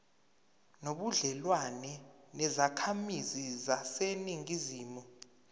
nobudlelwane nezakhamizi zaseningizimu